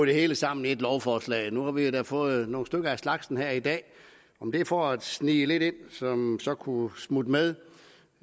det hele sammen i ét lovforslag nu har vi jo da fået nogle stykker af slagsen her i dag om det er for at snige lidt ind som så kunne smutte med